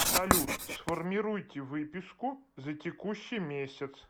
салют сформируйте выписку за текущий месяц